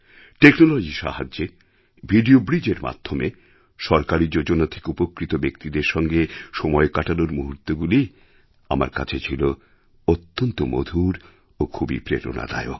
টেকনোলজির সাহায্যে ভিডিও ব্রিজের মাধ্যমে সরকারী যোজনা থেকে উপকৃত ব্যক্তিদের সঙ্গে সময় কাটানোর মুহূর্তগুলি আমার কাছে ছিল অত্যন্ত মধুর ও খুবই প্রেরণাদায়ক